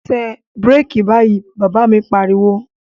Tẹ bíràkì báyìí, Bàbá mi pariwo